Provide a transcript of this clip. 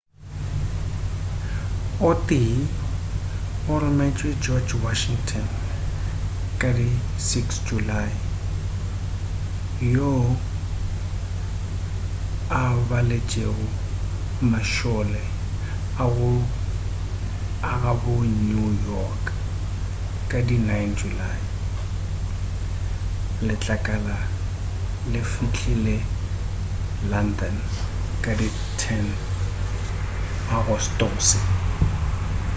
o tee o rometšwe george washington ka di 6 julae yoo a baletšego mašole a gabo ka new york ka di 9 julae letlakala le fihlile london ka di 10 agostose